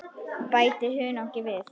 Bætið hunangi við.